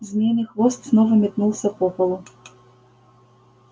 змеиный хвост снова метнулся по полу